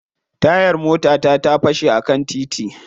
Tayar motata ta fashe a kan titi.